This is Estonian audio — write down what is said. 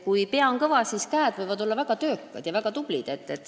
Kui pea on kõva, siis käed võivad olla väga töökad ja väga tublid.